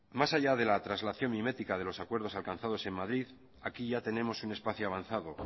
más allá de la translación mimética de los acuerdos alcanzados en madrid aquí ya tenemos un espacio avanzado